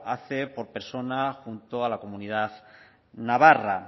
hace por persona junto a la comunidad navarra